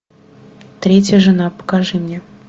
третья жена покажи мне